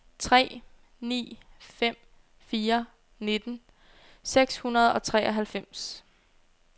tre ni fem fire nitten seks hundrede og treoghalvfems